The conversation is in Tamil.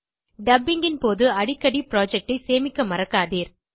டப்பிங் ன் போது அடிக்கடி புரொஜெக்ட் ஐ சேமிக்க மறக்காதீர்